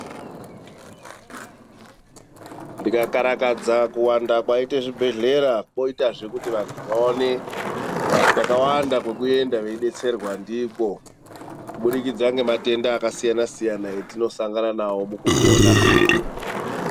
Ndika karakadza kuwanda kwaite zvibhedhlera, kwoitazve kuti vanthu vaone kwakawanda kwekuenda veidetserwa ndikwo. Kubudikidza ngematenda akasiyana-siyana etinosangana nawo mukupona.